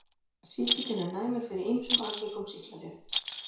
Sýkillinn er næmur fyrir ýmsum algengum sýklalyfjum.